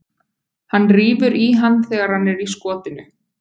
Hann rífur í hann þegar hann er í skotinu.